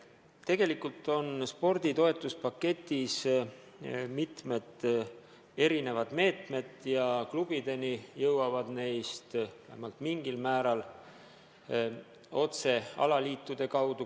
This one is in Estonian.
Tegelikult on spordi toetuspaketis mitmed erinevad meetmed ja klubideni jõuavad need vähemalt mingil määral otse alaliitude kaudu.